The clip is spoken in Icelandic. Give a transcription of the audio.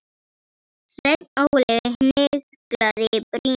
Sveinn Óli hnyklaði brýnnar.